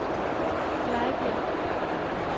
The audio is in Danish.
Glejbjerg